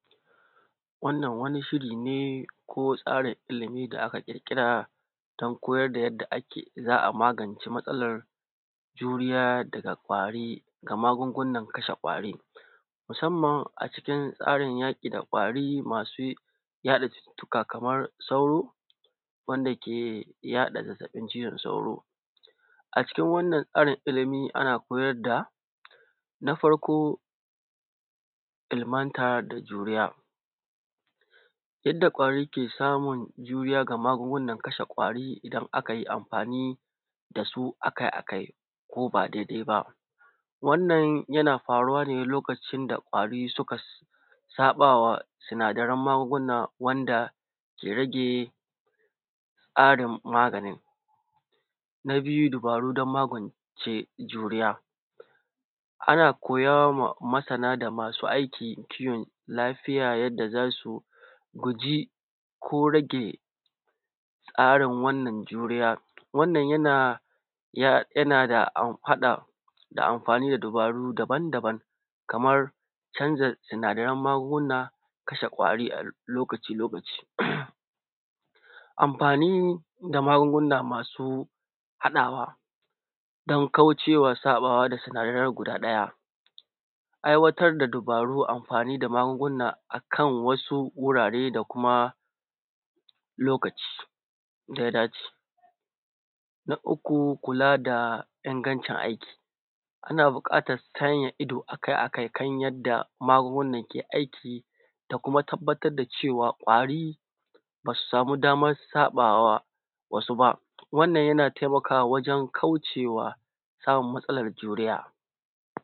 Wannna wani shiri ne ko tsarin ilimi da aka ƙirƙira don koyar da yadda za a magance matsalar juriya daga kwari da magungunan kashe kwari, musamman a cikin tsarin yaƙi da kwari masu yaɗa cututtuka kaman sauro wanda ke yaɗa zazzabin cizon sauro. A cikin wanann tsarin ilimi ana koyar da na farko ilimanta da duniya yadda kwari ke samu juriya da magungunan kashe ƙwari, idan akai amfani da su akai-akai ko ba daidai ba, wannan yana faruwa ne lokacin da kwari suka saɓa wa sinadaran magunguna wanda ke rage tsarin maganin. Na biyu dubaru don magance juriya, ana koya ma ma’ana da masu aiki kiwon lafiya yadda za su guji ko rage tsarin wannan juroya, wannan yana da amfani da amfani da dubaru daban-daban kamar canza sinadaran magunguna, kashe kwari a lokaci, lokaci amfani da magunguna masu haɗawa don kaucewa tsafta da sinadaran gabaɗaya. Aiwatar da dubaru anfani da magunguna a kan wasu wurare da kuma lokaci da ya da ce na farko kula da ingancin aikin, ana sanya ido akai-akai ta yadda magungunan ke aiki da kuma tabbatar da cewa kwari ba su samu daman su ba wa wasu ba, wanann yana taimakawa wajen kauce wa samu matsalar juriya.